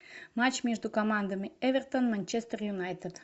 матч между командами эвертон манчестер юнайтед